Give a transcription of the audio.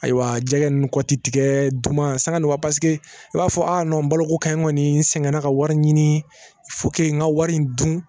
Ayiwa jɛgɛ nn kɔ ti tigɛɛ duman sanga nɔgɔ paseke i b'a fɔ a nɔn baloko ka ɲi kɔni sɛgɛnna ka wari ɲini n ka wari in dun